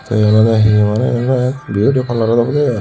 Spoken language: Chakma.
te yot ole hee oi beauty parlour obode ai.